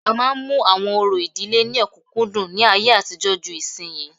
A máa ń mú àwọn orò ìdílé ní ọ̀kúnkúndùn ní ayé àtijọ́ ju ìsinyìí